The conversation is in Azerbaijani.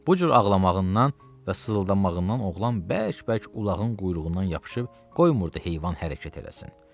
Bu cür ağlamağından və sızıldamağından oğlan bərk-bərk ulağın quyruğundan yapışıb qoymurdu heyvan hərəkət eləsin.